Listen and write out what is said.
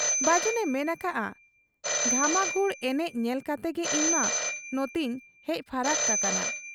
ᱵᱟᱹᱡᱩᱱᱮ ᱢᱮᱱ ᱟᱠᱟᱜ ᱟ, 'ᱜᱷᱟᱢᱟᱜᱷᱩᱲ ᱮᱱᱮᱡ ᱧᱮᱞ ᱠᱟᱛᱮᱜᱮ ᱤᱧᱢᱟ ᱱᱚᱴᱮᱧ ᱦᱮᱡ ᱯᱷᱟᱨᱟᱠ ᱟᱠᱟᱱ ᱾